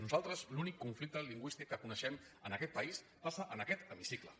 nosaltres l’únic conflicte lingüístic que coneixem en aquest país passa en aquest hemicicle